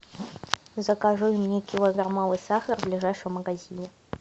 закажи мне килограммовый сахар в ближайшем магазине